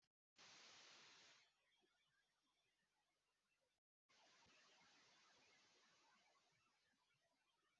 Bọ́lá kẹ́kọ̀ọ́ ìmọ̀-òfin ajẹmọ́tàn ní ẹ̀ka-ẹ̀kọ́ ìmọ̀-òfin.